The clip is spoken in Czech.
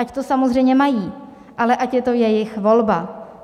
Ať to samozřejmě mají, ale ať je to jejich volba.